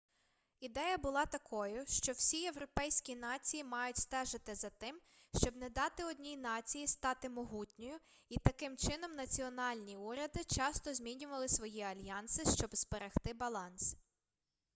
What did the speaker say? ідея була такою що всі європейські нації мають стежити за тим щоб не дати одній нації стати могутньою і таким чином національні уряди часто змінювали свої альянси щоб зберегти баланс